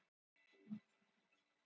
jörðin er næst mars!